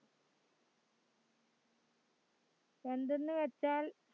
എന്തെന്നുവെച്ചാൽ